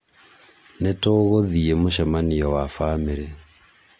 nĩtũgũthiĩ mũcemanio wa bamĩrĩ